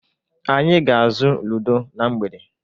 Anyị ga-azụ Ludo na mgbede.